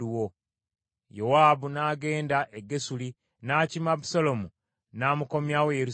Yowaabu n’agenda e Gesuli n’akima Abusaalomu n’amukomyawo e Yerusaalemi.